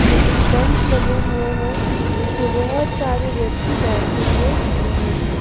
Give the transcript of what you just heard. Sitting bench लगे हुए है जिस पे बहोत सारे व्यक्ति बैठे हुए दिख रहे हैं।